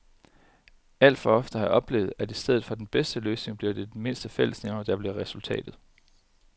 Alt for ofte har jeg oplevet, at i stedet for den bedste løsning bliver det den mindste fællesnævner, der bliver resultatet.